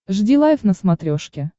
жди лайв на смотрешке